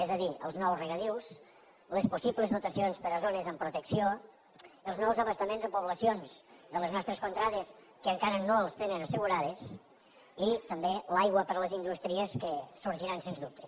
és a dir els nous regadius les possibles dotacions per a zones amb protecció els nous abastaments a poblacions de les nostres contrades que encara no els tenen assegurades i també l’aigua per a les indústries que sorgiran sens dubte